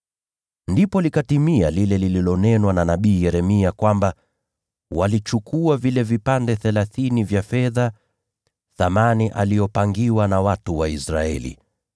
Ndipo likatimia lile lililonenwa na nabii Yeremia, kwamba, “Walichukua vile vipande thelathini vya fedha, thamani aliyopangiwa na watu wa Israeli,